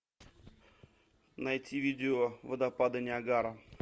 найти видео водопада ниагара